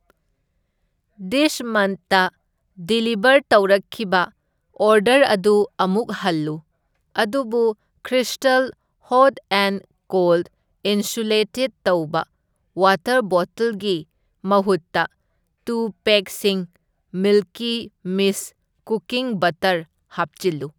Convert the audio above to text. This ꯃꯟꯠꯇ deliver ꯇꯧꯔꯛꯈꯤꯕ order ꯑꯗꯨ ꯑꯃꯨꯛ ꯍꯜꯂꯨ, ꯑꯗꯨꯕꯨ ꯈ꯭ꯔꯤꯁꯇꯜ ꯍꯣꯠ ꯑꯦꯟ ꯀꯣꯜꯗ ꯏꯟꯁꯨꯂꯦꯇꯦꯗ ꯇꯧꯕ ꯋꯥꯇꯔ ꯕꯣꯇꯜꯒꯤ ꯃꯍꯨꯠꯇ ꯇꯨ ꯄꯦꯛꯁꯤꯡ ꯃꯤꯜꯀꯤ ꯃꯤꯁꯠ ꯀꯨꯀꯤꯡ ꯕꯠꯇꯔ ꯍꯥꯞꯆꯤꯜꯂꯨ꯫